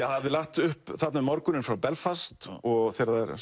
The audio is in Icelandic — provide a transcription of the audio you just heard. hafði lagt upp þarna um morguninn frá Belfast og